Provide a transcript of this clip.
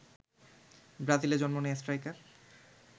ব্রাজিলে জন্ম নেয়া স্ট্রাইকার